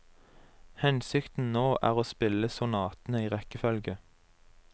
Hensikten nå er å spille sonatene i rekkefølge.